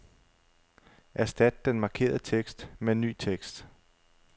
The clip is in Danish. Erstat den markerede tekst med ny tekst.